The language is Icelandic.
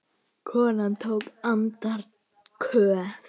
Konan tók andköf.